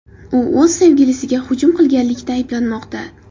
U o‘z sevgilisiga hujum qilganlikda ayblanmoqda.